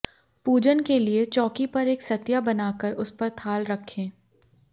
पूजन के लिए चौकी पर एक सतिया बनाकर उस पर थाल रखें